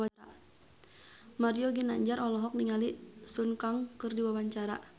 Mario Ginanjar olohok ningali Sun Kang keur diwawancara